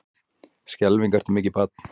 Skelfing ertu mikið barn.